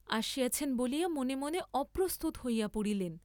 আসিয়াছেন বলিয়া মনে মনে অপ্রস্তুত হইয়া পড়িলেন।